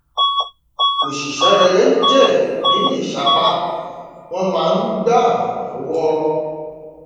oṣìṣẹ rere ń jèrè nínú ìsapá wọn máa ń gbà án lọwọ